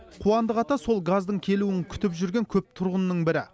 қуандық ата сол газдың келуін күтіп жүрген көп тұрғынның бірі